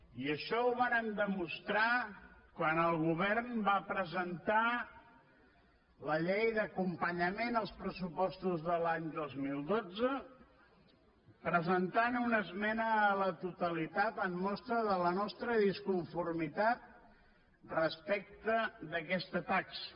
i això ho vàrem demostrar quan el govern va presentar la llei d’acompanyament dels pressupostos de l’any dos mil dotze presentant hi una esmena a la totalitat com a mostra de la nostra disconformitat respecte d’aquesta taxa